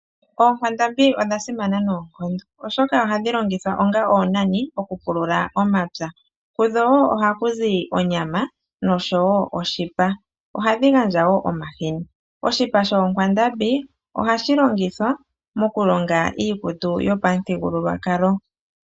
Oonkwandambi odha simana noonkondo, oshoka ohadhi longithwa onga oonani, mokupulula omapya. Kudho wo ohaku zi onyama, nosho wo oshipa. Ohadhi gandja wo omahini. Oshipa shoonkwandambi, ohashi longithwa mokulonga iikutu yopamuthigululwakalo.